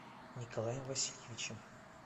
николаем васильевичем